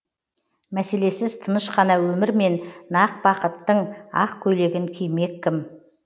мәселесіз тыныш қана өмірмен нақ бақыттың ақ көйлегін кимек кім